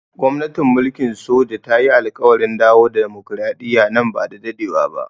Gwamnatin mulkin soja ta yi alƙawarin dawo da dimokuradiyya nan ba da dadewa ba.